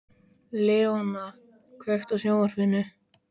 Leona, kveiktu á sjónvarpinu.